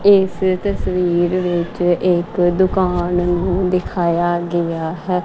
ਇਸ ਤਸਵੀਰ ਵਿਚ ਇੱਕ ਦੁਕਾਨ ਨੂੰ ਦਿਖਾਯਾ ਗਯਾ ਹੈ।